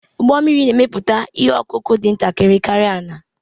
Ụgbọ mmiri na-emepụta ihe ọkụkụ dị ntakịrị karịa ala